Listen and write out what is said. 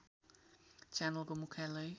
च्यानलको मुख्यालय